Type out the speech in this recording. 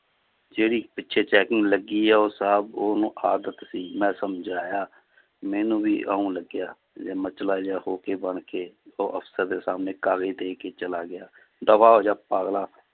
ਜਿਹੜੀ ਪਿੱਛੇ checking ਲੱਗੀ ਹੈ ਉਹ ਸਾਹਬ ਉਹਨੂੰ ਆਦਤ ਸੀ ਮੈਂ ਸਮਝਾਇਆ ਮੈਨੂੰ ਵੀ ਇਉਂ ਲੱਗਿਆ ਮਚਲਾ ਜਿਹਾ ਹੋ ਕੇ ਬਣ ਕੇ ਉਹ ਅਫ਼ਸਰ ਦੇ ਸਾਹਮਣੇ ਕਾਗਜ਼ ਦੇ ਕੇ ਚਲਾ ਗਿਆ ਦਫ਼ਾ ਹੋ ਜਾ ਪਾਗਲਾ